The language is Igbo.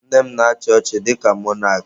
Nne m na-achị ọchịchị dịka mọnak.